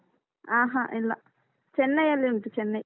ಹಾ ಹಾ ಇಲ್ಲ ಚೆನ್ನೈ ಅಲ್ಲಿ ಉಂಟು ಚೆನ್ನೈ.